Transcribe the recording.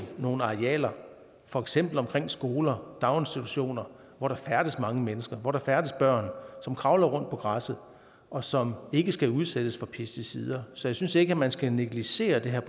nogle arealer for eksempel omkring skoler og daginstitutioner hvor der færdes mange mennesker hvor der færdes børn som kravler rundt på græsset og som ikke skal udsættes for pesticider så jeg synes ikke man skal negligere det her